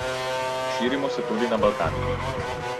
Širimo se tudi na Balkan.